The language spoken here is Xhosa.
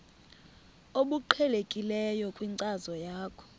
obuqhelekileyo kwinkcazo yakho